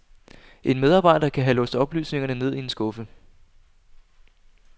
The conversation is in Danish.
En medarbejder kan have låst oplysningerne ned i en skuffe.